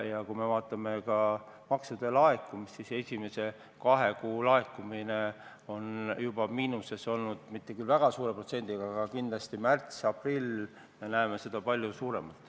Kui vaatame maksude laekumist, siis esimese kahe kuu laekumine on juba miinuses olnud, mitte küll väga suure protsendiga, aga märtsi ja aprilli puhul näeme seda kindlasti palju suuremalt.